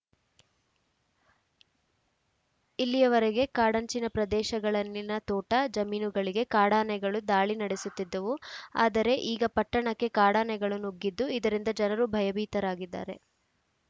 ಇಲ್ಲಿಯವರೆಗೆ ಕಾಡಂಚಿನ ಪ್ರದೇಶಗಳಲ್ಲಿನ ತೋಟ ಜಮೀನುಗಳಿಗೆ ಕಾಡಾನೆಗಳು ದಾಳಿ ನಡೆಸುತ್ತಿದ್ದವು ಆದರೆ ಈಗ ಪಟ್ಟಣಕ್ಕೆ ಕಾಡಾನೆಗಳು ನುಗ್ಗಿದ್ದು ಇದರಿಂದ ಜನರು ಭಯಭೀತರಾಗಿದ್ದಾರೆ